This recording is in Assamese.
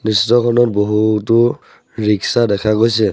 দৃশ্যখনত বহুতো ৰিক্সা দেখা গৈছে।